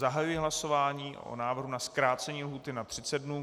Zahajuji hlasování o návrhu na zkrácení lhůty na 30 dnů.